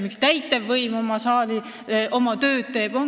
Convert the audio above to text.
Miks täitevvõim oma tööd teeb?